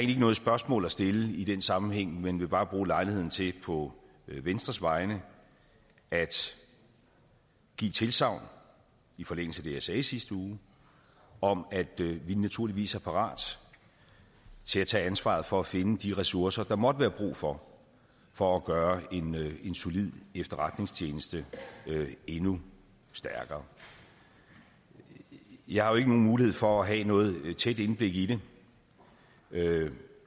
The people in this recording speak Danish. ikke noget spørgsmål at stille i den sammenhæng men vil bare bruge lejligheden til på venstres vegne at give et tilsagn i forlængelse af det jeg sagde i sidste uge om at vi naturligvis er parat til at tage ansvaret for at finde de ressourcer der måtte være brug for for at gøre en solid efterretningstjeneste endnu stærkere jeg har jo ikke nogen mulighed for at have noget tæt indblik i det jeg